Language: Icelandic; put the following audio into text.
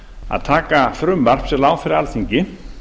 að taka frumvarp sem lá fyrir alþingi